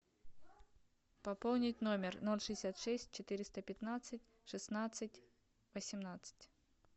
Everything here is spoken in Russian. пополнить номер ноль шестьдесят шесть четыреста пятнадцать шестнадцать восемнадцать